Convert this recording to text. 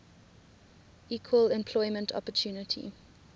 equal employment opportunity